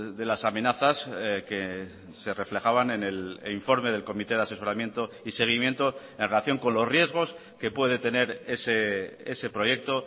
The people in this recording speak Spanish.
de las amenazas que se reflejaban en el informe del comité de asesoramiento y seguimiento en relación con los riesgos que puede tener ese proyecto